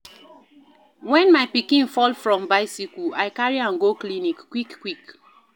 Wen my pikin fall from bicycle, I carry am go clinic quick-quick.